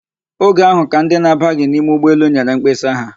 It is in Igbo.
Oge ahụ ka ndị na-abaghị n'ime ụgbọelu nyere mkpesa ha.